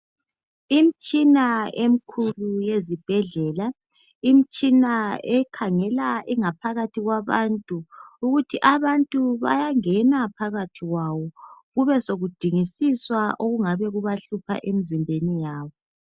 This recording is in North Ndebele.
Imtshina emkhulu yezibhedlela .Imtshina ekhangela ingaphakathi yabantu .Ukuthi abantu bayangena phakathi kwawo kube sokudingisiswa okungabe kubahlupha emzimbeni yabo .